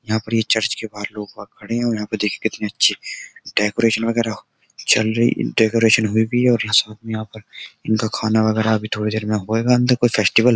यहाँ पर ये चर्च के बाहर लोग बाग खड़े हैं और यहाँ पर देखिये ये कितनी अच्छी डेकोरेशन वगेरा चल रही डेकोरेशन हुई भी है और यहाँ साथ में यहाँ पर खाना वाना थोड़ी देर में होएगा अन्दर कोई फेस्टिवल --